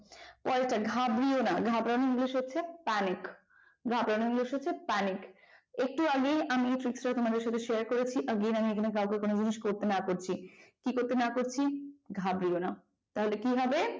call তা ঘাবড়িও না ঘাবড়িও না english হচ্ছে